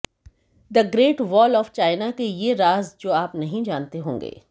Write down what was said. the great wall of China के ये राज जो आप नहीं जानते होंगे